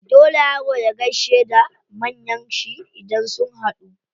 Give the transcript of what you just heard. Dole yaro ya gaishe da manyan shi idan sun haɗu.